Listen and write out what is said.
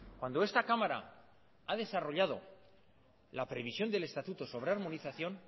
cuando esta cámara ha desarrollado la previsión del estatuto sobre armonización